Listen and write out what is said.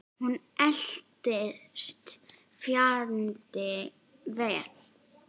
Hún eldist fjandi vel.